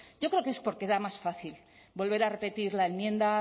yo creo es porque era más fácil volver a repetir la enmienda